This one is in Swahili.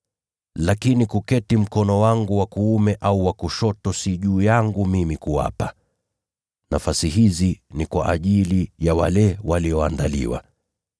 lakini kuketi mkono wangu wa kuume au wa kushoto si juu yangu mimi kuwapa. Nafasi hizi ni kwa ajili ya wale walioandaliwa.”